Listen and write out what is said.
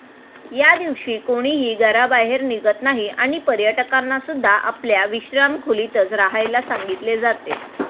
या दिवशी कोणीही घराबाहेर निघत नाही आणि पर्यटकांना सुद्धा आपल्या विश्राम खोलीतच राहायला सांगितले जाते.